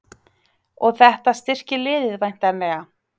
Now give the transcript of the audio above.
Og þetta styrkir liðið væntanlega?